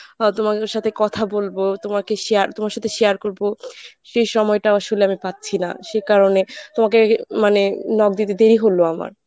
বা তোমাদের সাথে কথা বলবো, তোমাকে share তোমার সাথে share করব সেই সময়টা আসলে আমি পাচ্ছি না সে কারণে তোমাকে মানে knock দিতে দেরি হল আমার।